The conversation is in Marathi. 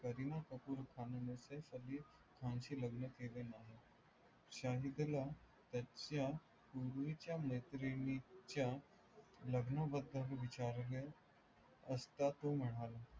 करीना कपूर खानने सैफ अली खानशी लग्न केले नाही शाहिदला त्याच्या पूर्वीच्या मैत्रिणीच्या लग्नाबदल विचारल्यास असा तो म्हणाला